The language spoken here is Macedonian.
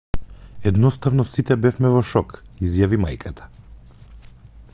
едноставно сите бевме во шок изјави мајката